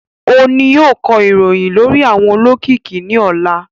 O ni yóò kọ ìròyìn lórí àwọn olókìkí ní ọ̀la